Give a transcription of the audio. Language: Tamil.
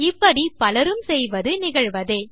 இப்படி பலரும் செய்வது நிகழ்வதே